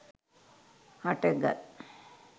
හට ගත්